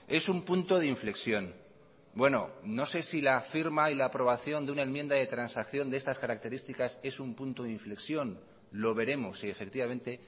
es un punto de inflexión bueno no sé si la firma y la aprobación de una enmienda de transacción de estas características es un punto de inflexión lo veremos si efectivamente